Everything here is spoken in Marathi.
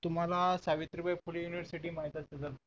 तुम्हाला सावित्रीबाई फुले university माहित असेल